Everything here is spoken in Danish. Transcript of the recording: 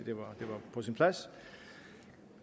det var på sin plads